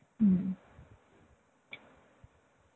হম.